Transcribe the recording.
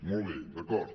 molt bé d’acord